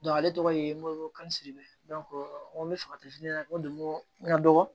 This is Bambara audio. ale tɔgɔ ye moyika siribe fagati ɲɛna n ko n ka dɔgɔ